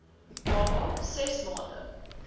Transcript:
baba ses maande